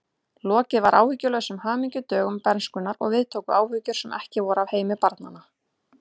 Lokið var áhyggjulausum hamingjudögum bernskunnar og við tóku áhyggjur sem ekki voru af heimi barna.